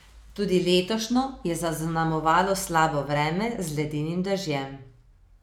Tudi letošnjo je zaznamovalo slabo vreme z ledenim dežjem.